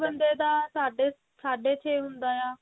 ਬੰਦੇ ਦਾ ਸਾਢ਼ੇ ਸਾਢ਼ੇ ਛੇ ਹੁੰਦਾ ਆ ਤੇ